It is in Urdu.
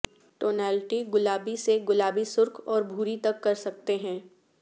ٹونالٹی گلابی سے گلابی سرخ اور بھوری تک کر سکتے ہیں